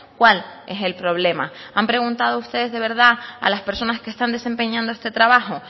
cuál es el problema han preguntado ustedes de verdad a las personas que están desempeñando este trabajo